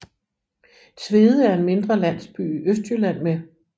Tvede er en mindre landsby i Østjylland med